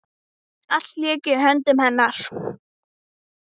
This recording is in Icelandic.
Allt lék í höndum hennar.